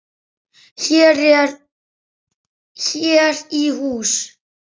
Hér í hús